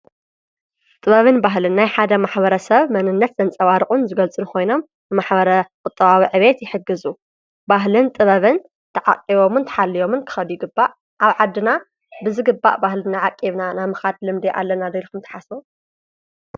ጥበብን ባህልን ናይ ሓደ ማኅበረ ሰብ መንነት ዘንጸባርቑን ዝገልጽን ኾይኖም ንማኅበረ ቝጥዋዊዕቤየት ይሕግዙ ባህልን ጥበብን ተዓቒቦምን ተሓልዮምን ክኸዱይ ይግባእ ።ኣብ ዓድና ብዝግባእ ባህልእና ዓቂብና ናምኻድ ልምድይ ኣለና ዶልኹም ተሓስቡ?